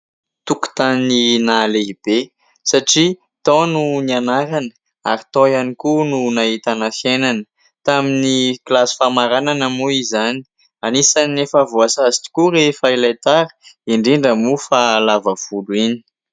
Tokontany nahalehibe satria tao no nianarana ary tao ihany koa no nahitana fiainana. Tamin'ny kilasy famaranana moa izany, anisan'ny efa voasazy tokoa rehefa ilay tara indrindra moa fa lava volo iny.